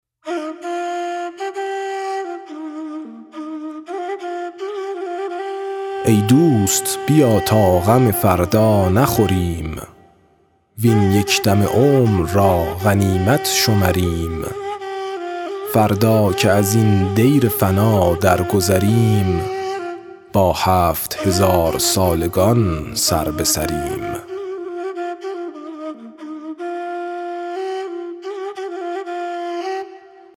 ای دوست بیا تا غم فردا نخوریم وین یک دم عمر را غنیمت شمریم فردا که ازین دیر فنا درگذریم با هفت هزارسالگان سربه سریم